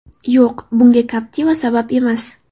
Yo‘q, bunga Captiva sabab emas.